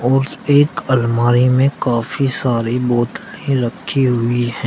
और एक अलमारी में काफी सारी बोतले रखी हुई है।